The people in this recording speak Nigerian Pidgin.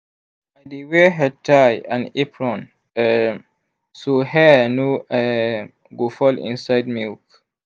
i dey wear headtie and apron um so hair no um go fall inside milk.